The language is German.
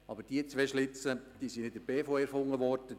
Aber die zwei Schlitze sind nicht von der BVE erfunden worden!